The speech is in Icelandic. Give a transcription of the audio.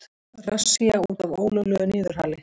Rassía út af ólöglegu niðurhali